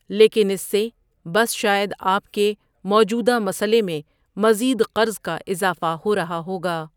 لیکن اس سے بس شاید آپ کے موجودہ مسئلے میں مزید قرض کا اضافہ ہو رہا ہوگا۔